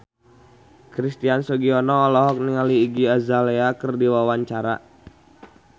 Christian Sugiono olohok ningali Iggy Azalea keur diwawancara